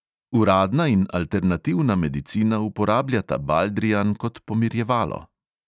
Uradna in alternativna medicina uporabljata baldrijan kot pomirjevalo.